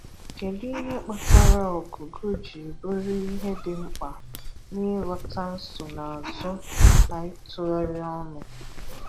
Kédụ ihe kpatara Ụ̀gụ̀gụ̀ ji bụrụ ihe dị mkpa n’ị̀ghọ́tà nsonaazụ na ị̀tùghàrị̀ ọnụ́?